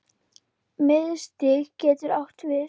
Miðstig getur átt við